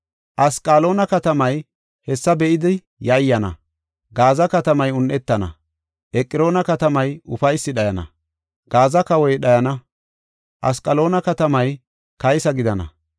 Asqaloona katamay hessa be7idi yayyana; Gaaza katamay un7etana; Eqroona katamay ufaysi dhayana. Gaaza kawoy dhayana; Asqaloona katamay kaysa gidana.